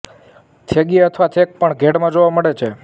થેગી અથવા થેક પણ ઘેડમાં જોવા મળે છે